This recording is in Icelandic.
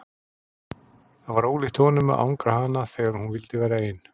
Það var ólíkt honum að angra hana þegar hún vildi vera ein.